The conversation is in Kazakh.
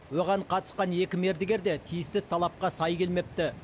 оған қатысқан екі мердігер де тиісті талапқа сай келмепті